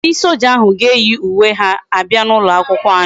Ndi soja ahu ga eyi uwe ha abia na ulo akwukwo anyi